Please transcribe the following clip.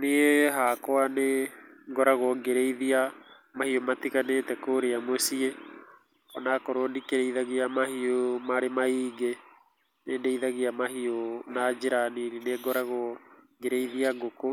Niĩ hakwa nĩ ngoragwo ngĩrĩithia mahiũ matiganĩte kũrĩa mũciĩ, ona korwo ndikĩrĩithagia mahiũ marĩ maingĩ, nĩ ndĩithagia mahiũ na njĩra nini, nĩ ngoragwo ngĩrĩithia ngũkũ